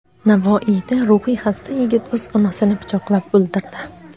Navoiyda ruhiy xasta yigit o‘z onasini pichoqlab o‘ldirdi.